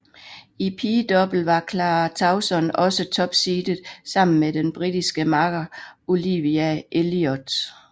I pigedouble var Clara Tauson også topseedet sammen med den britiske makker Olivia Elliot